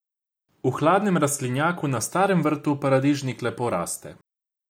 V hladnem rastlinjaku na starem vrtu paradižnik lepo raste.